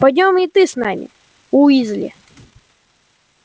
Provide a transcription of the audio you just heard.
пойдём и ты с нами уизли